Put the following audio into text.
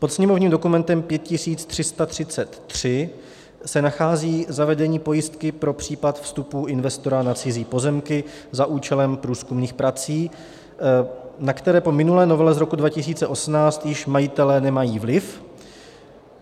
Pod sněmovním dokumentem 5333 se nachází zavedení pojistky pro případ vstupu investora na cizí pozemky za účelem průzkumných prací, na které po minulé novele z roku 2018 již majitelé nemají vliv.